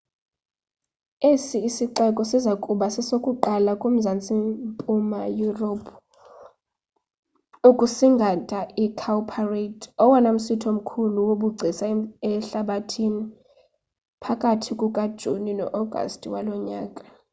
esi sixeko siza kuba sesokuqala kumazantsi mpuma yurophu ukusingatha icowparade owona msitho mkhulu wobugcisa ehlabathini phakathi kukajuni no-agasti walo nyaka